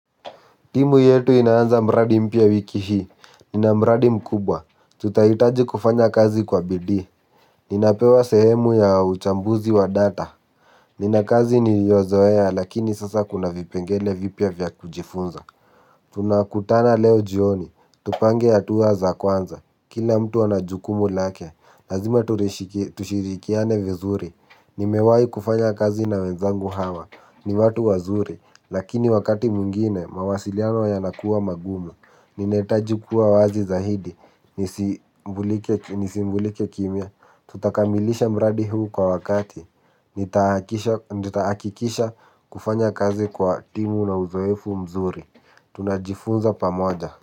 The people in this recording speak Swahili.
Timu yetu inaanza mradi mpya wiki hii, nina mradi mkubwa, tutahitaji kufanya kazi kwa bidii, ninapewa sehemu ya uchambuzi wa data, nina kazi niliyozoea lakini sasa kuna vipengele vipya vya kujifunza. Tunakutana leo jioni. Tupange hatuwa za kwanza. Kila mtu ana jukumu lake. Lazima tushirikiane vizuri. Nimewai kufanya kazi na wenzangu hawa. Ni watu wazuri. Lakini wakati mwingine mawasiliano yanakuwa magumu. Ninahitaji kuwa wazi zahidi. Nisimbulike kimya. Tutakamilisha mradi huu kwa wakati. Nitaakikisha kufanya kazi kwa timu na uzoefu mzuri. Tunajifunza pamoja.